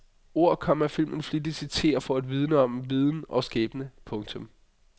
Ord, komma filmen flittigt citerer for at vidne om viden og skæbne. punktum